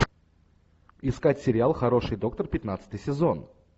искать сериал хороший доктор пятнадцатый сезон